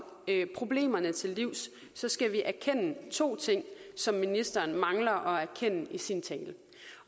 problemerne til livs skal vi erkende to ting som ministeren mangler at erkende i sin tale